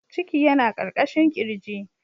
Ciki yana ƙarƙashin ƙirji.